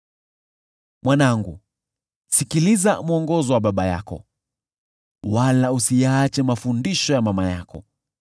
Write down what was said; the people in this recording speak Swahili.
Mwanangu, sikiliza mwongozo wa baba yako, wala usiyaache mafundisho ya mama yako.